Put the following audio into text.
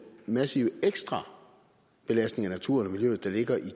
massive ekstra belastning af naturen og miljøet der ligger i